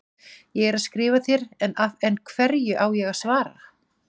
Ég er að skrifa þér, en hverju á ég að svara?